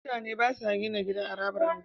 Mutane Bada gina gida a harabar unguwa